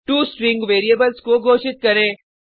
2 string variables को घोषित करें